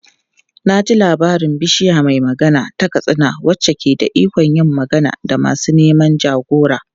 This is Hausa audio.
Na ji labarin Bishiya mai Magana ta Katsina wacce ke da ikon yin magana da masu neman jagora.